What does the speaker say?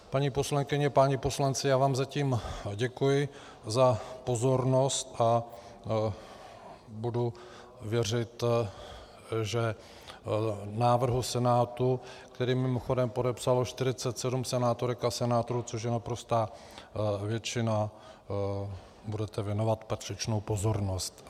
Paní poslankyně, páni poslanci, já vám zatím děkuji za pozornost a budu věřit, že návrhu Senátu, který mimochodem podepsalo 47 senátorek a senátorů, což je naprostá většina, budete věnovat patřičnou pozornost.